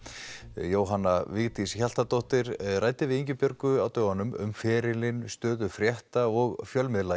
Jóhanna Vigdís Hjaltadóttir ræddi við Ingibjörgu á dögunum um ferilinn stöðu frétta og fjölmiðla